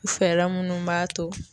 U fɛɛla munnu b'a to